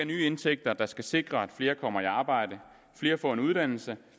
nye indtægter der skal sikre at flere kommer i arbejde at flere får en uddannelse